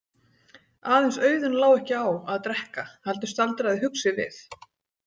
Aðeins Auðunn lá ekki á að drekka heldur staldraði hugsi við.